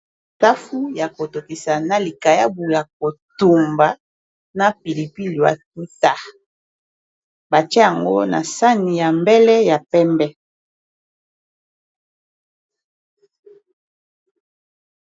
Safu ya kotokisa na likayabu ya kotumba na pilipi batuta batie yango na sani ya mbele ya pembe.